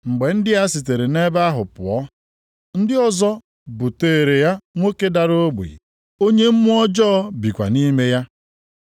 Mgbe ndị a sitere nʼebe ahụ pụọ, ndị ọzọ buteere ya nwoke dara ogbi, onye mmụọ ọjọọ bikwa nʼime ya.